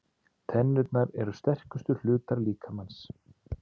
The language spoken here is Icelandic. Tennurnar eru sterkustu hlutar líkamans.